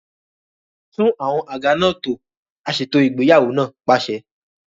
Tún àwọn àga náà tò! Aṣètò ìgbéyàwó náà pàṣẹ.